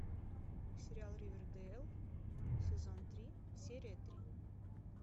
сериал ривердейл сезон три серия три